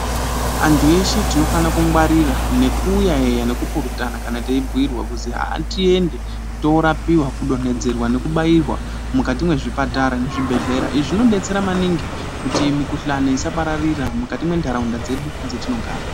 Antu eshe tinofana kungwarira neku yaeya neku purutana kana tei bhuyirwa kuzi ngatiende torapiwa kudonedzerwa neku bairwa mukati mwezvipatara nezvibhedhlera izvi zvinodetsera maningi kuti mikuhlane isapararia mukati mendaraunda dzedu dzatinogara